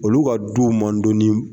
Olu ka du man dɔn ni